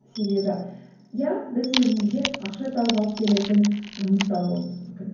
себебі иә біз өзімізге ақша тауып алып келетін жұмыс тауып алуымыз мүмкін